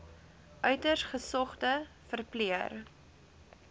uiters gesogde verpleër